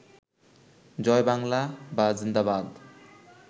জয় বাংলা বা জিন্দাবাদ